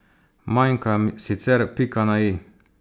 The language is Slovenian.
Manjka sicer pika na i.